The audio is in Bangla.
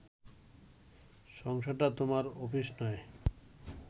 সংসারটা তোমার অফিস নয়